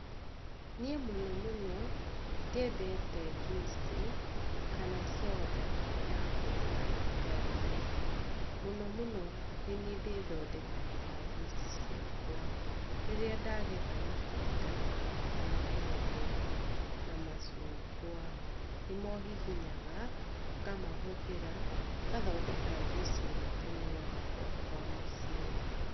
Niĩ mũno mũno ndiendete njuici, kana conda ya kũgũra nduka-inĩ. Mũno mũno niĩ nĩniĩ ndĩthondekagĩra njuici ciakwa. Rĩrĩa ndagetha matunda ta maembe na macungwa nĩmo hihinyaga, ngamahũthĩra ngathondeka njuici ĩrĩa tũnyuaga gwakwa mũciĩ.